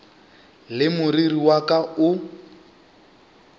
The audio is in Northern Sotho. le moriri wa ka o